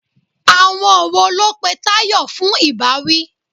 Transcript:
Àwọn wo ló pe Tayọ fún ìbáwí?